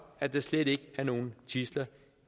at der slet ikke er nogen tidsler